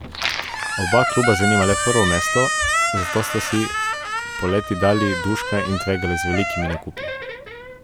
Oba kluba zanima le prvo mesto, zato sta si poleti dali duška in tvegala z velikimi nakupi.